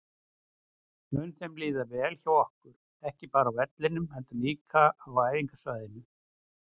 Mun þeim líða vel hjá okkur, ekki bara á vellinum heldur líka á æfingasvæðinu?